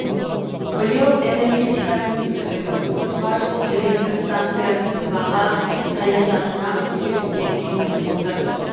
биыл энергетика министрлігі отызға жуық электр станцияның баға саясатына өзгерістер енгізіп отыр